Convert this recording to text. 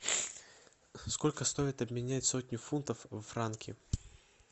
сколько стоит обменять сотню фунтов в франки